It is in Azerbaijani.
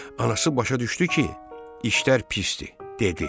Anası başa düşdü ki, işlər pisdir, dedi: